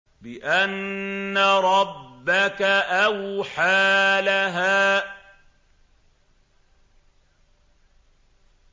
بِأَنَّ رَبَّكَ أَوْحَىٰ لَهَا